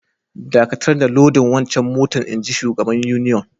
Dakatar da lodin wancan motan, inji shugaban union.